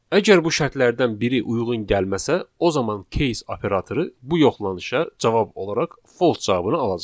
Əgər bu şərtlərdən biri uyğun gəlməsə, o zaman case operatoru bu yoxlanışa cavab olaraq false cavabını alacaq.